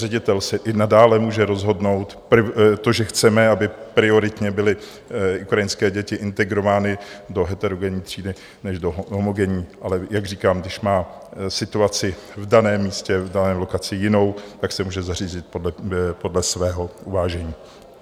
Ředitel si i nadále může rozhodnout - to, že chceme, aby prioritně byly ukrajinské děti integrovány do heterogenní třídy než do homogenní, ale jak říkám, když má situaci v daném místě, v dané lokaci jinou, tak se může zařídit podle svého uvážení.